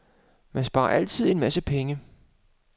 Man sparer altid en masse penge.